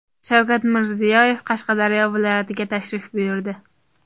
Shavkat Mirziyoyev Qashqadaryo viloyatiga tashrif buyurdi.